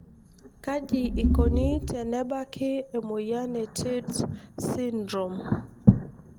kaji ikoni tenebaaki emoyian e tietz syndrome.